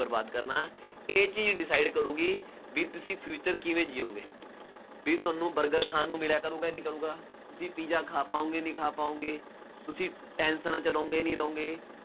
ਬਰਬਾਦ ਕਰਨਾ, ਇਹ ਚੀਜ਼ decide ਕਰੂਗੀ, ਬਈ ਤੁਸੀਂ future ਕਿਵੇਂ ਜਿਊਗੇ, ਬਈ ਤੁਹਾਨੂੰ ਬਰਗਰ ਖਾਣ ਨੂੰ ਮਿਲਿਆ ਕਰੂਗਾ ਨਹੀਂ ਕਰੂਗਾ, ਬਈ ਪੀਜ਼ਾ ਖਾ ਪਾਉਗੇ ਨਹੀਂ ਖਾ ਪਾਉਗੇ, ਤੁਸੀਂ ਟੈਨਸ਼ਨਾਂ ਚ ਰਹੋਂਗੇ ਨਹੀਂ ਰਹੋਂਗੇ।